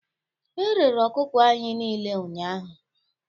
Erere ọkụkọ anyị niile ụnyahụ